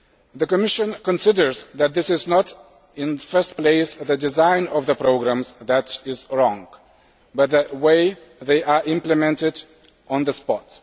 The Commission considers that it is not primarily the design of the programmes that is wrong, but the way they are implemented on the spot.